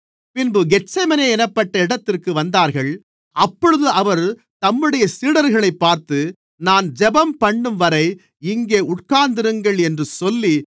பின்பு கெத்செமனே என்னப்பட்ட இடத்திற்கு வந்தார்கள் அப்பொழுது அவர் தம்முடைய சீடர்களைப் பார்த்து நான் ஜெபம்பண்ணும்வரை இங்கே உட்கார்ந்திருங்கள் என்று சொல்லி